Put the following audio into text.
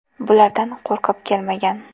Bulardan qo‘rqib kelmagan.